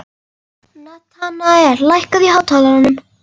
Natanael, lækkaðu í hátalaranum.